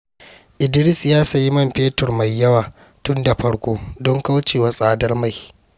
Idris ya sayi man fetur mai yawa tun da farko don kauce wa tsadar mai.